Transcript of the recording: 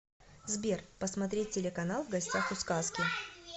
сбер посмотреть телеканал в гостях у сказки